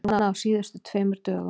Núna á síðustu tveimur dögum.